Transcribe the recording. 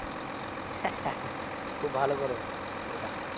খুব ভালো করো এটা